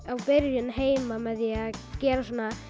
byrjun heima með því að gera svona